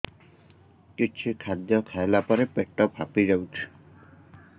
କିଛି ଖାଦ୍ୟ ଖାଇଲା ପରେ ପେଟ ଫାମ୍ପି ଯାଉଛି